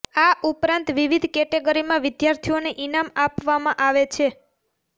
આ ઉપરાંત વિવિધ કેટેગરીમાં વિદ્યાર્થીઓને ઈનામ આપવામાં આવે છે